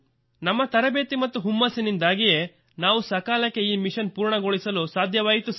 ನಮ್ಮ ತರಬೇತಿ ಮತ್ತು ಹುಮ್ಮಸ್ಸಿನಿಂದಾಗಿಯೇ ನಾವು ಸಕಾಲಕ್ಕೆ ಈ ಮಿಶನ್ ಪೂರ್ಣಗೊಳಿಸಲು ಸಾಧ್ಯವಾಯಿತು ಸರ್